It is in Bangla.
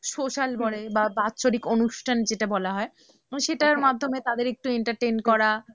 Social বলে বা বাৎসরিক অনুষ্ঠান যেটা বলা হয়, সেটার মাধ্যমে তাদের একটু entertain করা